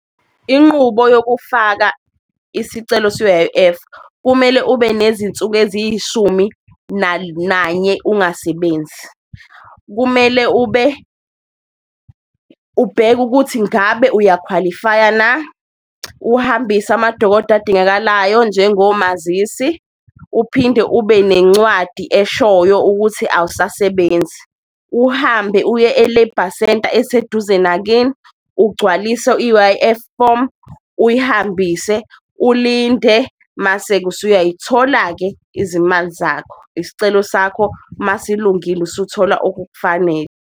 Inqubo yokufaka isicelo se-U_I_F kumele ube nezinsuku eziyishumi nanye ungasebenzi, kumele ubheke ukuthi ngabe uyakhwalifaya na, uhambise amadokodo adingakalayo njengomazisi, uphinde ube nencwadi eshoyo ukuthi awusasebenzi. Uhambe uye e-Labour Center eseduze nakini ugcwalise i-U_I_F form uyihambise ulinde, mase-ke usuyayithola-ke izimali zakho. Usicelo sakho masilungile usuthola okukufanele.